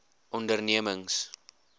ondernemings